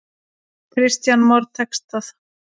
Kristján Már: Tekst það?